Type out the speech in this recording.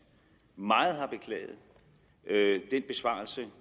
meget har beklaget den besvarelse